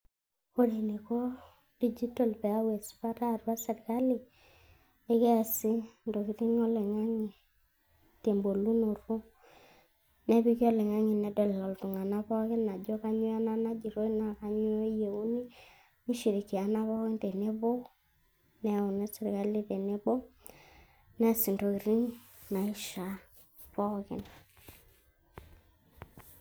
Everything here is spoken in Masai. Ore eneiko digital peyau esipata atua serkali ekiasi intokitin oloing'ange tebolunoto nepiki oloingange nedol iltunganaa pooki ajo kanyio ena najoitoi na kanyio eyieuni nishirikiana pooki tenebo neyauni serkali teneboo nias ntokini naisha pookin.